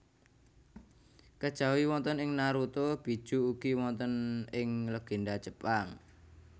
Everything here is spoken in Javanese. Kejawi wonten ing Naruto Bijuu ugi wonten ing legenda Jepang